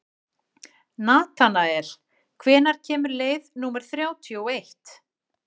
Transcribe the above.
Natanael, hvenær kemur leið númer þrjátíu og eitt?